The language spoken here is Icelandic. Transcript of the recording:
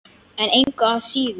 En engu að síður.